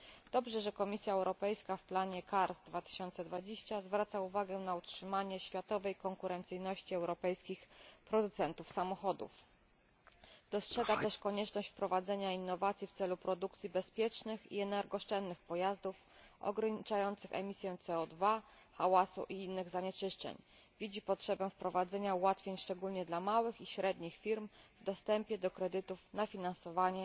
Dobrze, że Komisja Europejska w planie CARS2020 zwraca uwagę na utrzymanie światowej konkurencyjności europejskich producentów samochodów oraz dostrzega też konieczność wprowadzenia innowacji w celu produkcji bezpiecznych i energooszczędnych pojazdów ograniczających emisje CO 2 hałasu i innych zanieczyszczeń, widzi potrzebę wprowadzenia ułatwień szczególnie dla małych i średnich firm w dostępie do kredytów na finansowanie